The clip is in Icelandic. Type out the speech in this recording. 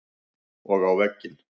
Og á vegginn.